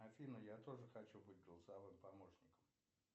афина я тоже хочу быть голосовым помощником